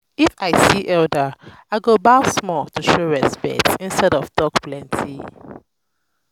if i see elder i go bow small to show respect instead of talk plenty.